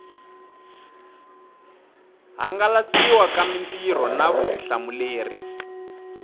hangalasiwa ka mitirho na vutihlamuleri